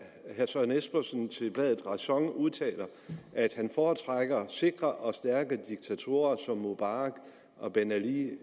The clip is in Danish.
herre søren espersen til bladet ræson udtaler at han foretrækker sikre og stærke diktatorer som mubarak og ben ali